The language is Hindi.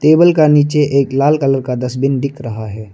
टेबल का नीचे एक लाल कलर का डस्टबिन दिख रहा है।